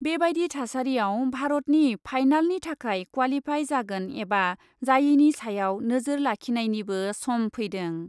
बेबादि थासारिआव भारतनि फाइनालनि थाखाय क्वालिफाइ जागोन एबा जायैनि सायाव नोजोर लाखिनायनिबो सम फैदों ।